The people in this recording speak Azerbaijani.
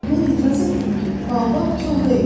Mən etiraz etdim ki, Baobab kol deyil.